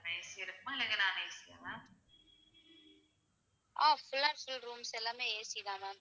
Ah full and full rooms எல்லாம் AC தான் ma'am.